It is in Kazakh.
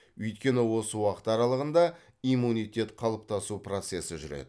өйткені осы уақыт аралығында иммунитет қалыптасу процесі жүреді